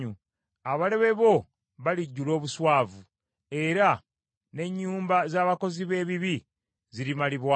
Abalabe bo balijjula obuswavu, era n’ennyumba z’abakozi b’ebibi zirimalibwawo.”